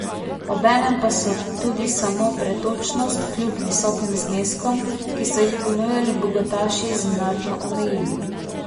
Obenem pa so tudi samo pretočnost kljub visokim zneskom, ki so jih ponujali bogataši, znatno omejili.